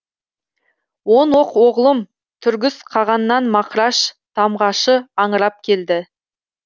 он оқ оғлым түргіс қағаннан мақраш тамғашы аңырап келді